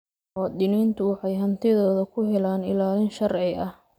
Muwaadiniintu waxay hantidooda ku helaan ilaalin sharci ah.